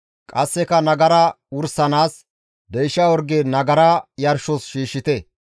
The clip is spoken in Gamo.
Qasseka nagara wursanaas deysha orge nagara yarshos shiishshite.